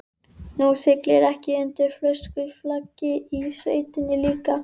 Þú siglir ekki undir fölsku flaggi í sveitinni líka?